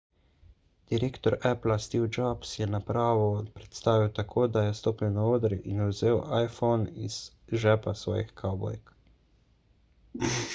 direktor appla steve jobs je napravo predstavil tako da je stopil na oder in vzel iphone iz žepa svojih kavbojk